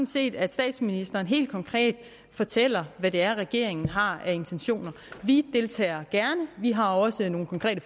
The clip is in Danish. set at statsministeren helt konkret fortæller hvad det er regeringen har af intentioner vi deltager gerne vi har også nogle konkrete